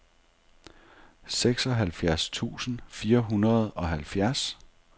seksoghalvfjerds tusind fire hundrede og halvfjerds